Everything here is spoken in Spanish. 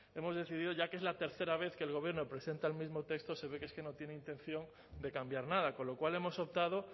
hemos decidido ya que es la tercera vez que el gobierno presenta el mismo texto se ve que es que no tiene intención de cambiar nada con lo cual hemos optado